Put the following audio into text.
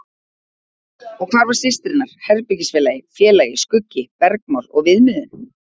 Og hvar var systir hennar, herbergisfélagi, félagi, skuggi, bergmál og viðmiðun?